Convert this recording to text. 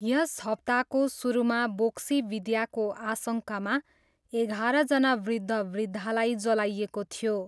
यस हप्ताको सुरुमा बोक्सीविद्याको आशङ्कामा एघारजना वृद्धवृद्धालाई जलाइएको थियो।